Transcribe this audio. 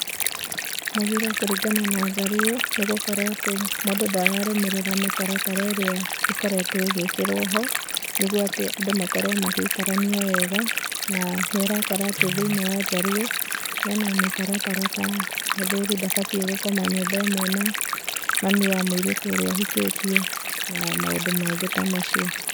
Mũgiro kũringana na njaruo nĩ gũkorwo atĩ mũndũ ndararũmĩrĩra mĩtaratara ĩrĩa ĩkoretwo ĩgĩkĩrwo ho nĩgũo atĩ andũ makorwo magĩikarania wega, na nĩ ũrakora thĩĩnĩe wa njaruo mena mĩtaratara ta mũthuri ndabatĩe gũkoma nyũmba ĩmwe na mami wa mũirĩtu ũrĩa ahikĩtĩe na maũndũ mangĩ ta macio.